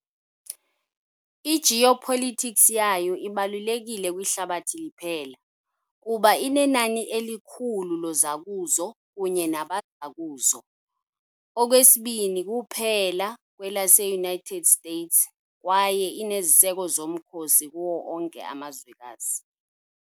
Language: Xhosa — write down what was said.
I -geopolitics yayo ibalulekile kwihlabathi liphela, kuba inenani elikhulu lozakuzo kunye nabazakuzo, okwesibini kuphela kwelase -United States, kwaye ineziseko zomkhosi kuwo onke amazwekazi.